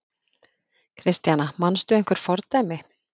Kristjana: Manstu einhver fordæmi?